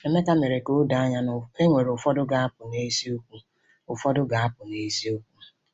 Emeka mere ka o doo anya na e nwere ụfọdụ ga-apụ n’eziokwu. ụfọdụ ga-apụ n’eziokwu.